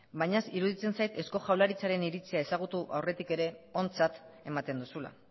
baina iruditzen zait eusko jaurlaritzaren iritzia ezagutu aurretik ere ontzat ematen duzula